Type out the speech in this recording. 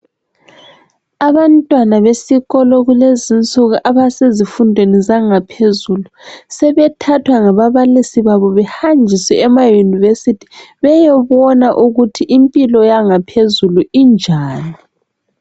Abantwana besikolo kulezinsuku abasezifundweni zangaphezulu sebethathwa ngababalisi babo behanjiswe emayunivesithi beyobona ukuthi impilo yangaphezulu injani.